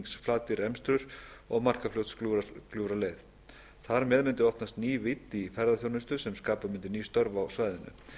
einhyrningsflatir til emstrur og markarfljótsgljúfraleið þar með mundi opnast ný vídd í ferðaþjónustu sem skapa mundi ný störf á svæðinu